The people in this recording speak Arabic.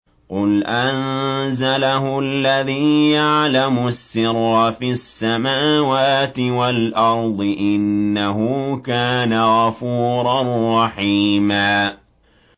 قُلْ أَنزَلَهُ الَّذِي يَعْلَمُ السِّرَّ فِي السَّمَاوَاتِ وَالْأَرْضِ ۚ إِنَّهُ كَانَ غَفُورًا رَّحِيمًا